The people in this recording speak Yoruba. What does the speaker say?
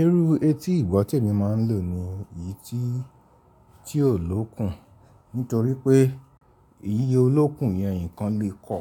Irú etí ìgbọ́ ti ẹ̀mi máa ń lò ní èyí tí ò lókun. Nítorí pé iye olókùn yẹn nǹkan lè kọ,